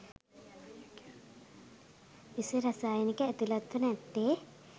විස රසායනිකය ඇතුළත්ව නැත්තේ